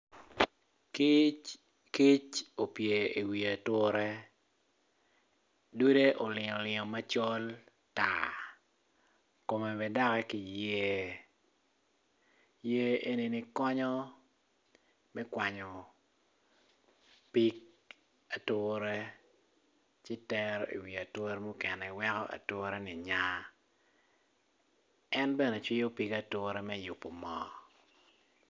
Kic opye iwi ature dude olingo olingo macol tar kome bene doki kiyer yer enini konyo me kwanyo pig ature ci tero iwi ature mukene weko atureni nya en bene cwiyo pig ature me yubo moo.